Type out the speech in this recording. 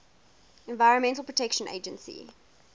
environmental protection agency